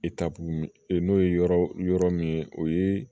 n'o ye yɔrɔ yɔrɔ min ye o ye